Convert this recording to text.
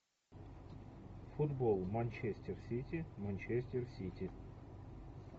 футбол манчестер сити манчестер сити